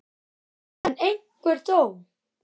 Sunna: En einhver þó?